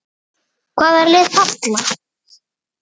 Álitið: Hvaða lið falla?